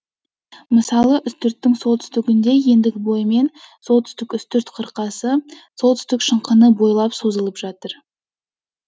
мысалы үстірттің солтүстігінде ендік бойымен солтүстік үстірт қырқасы солтүстік шыңқыны бойлап созылып жатыр